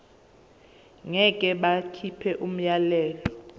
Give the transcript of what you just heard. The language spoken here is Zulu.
ngeke bakhipha umyalelo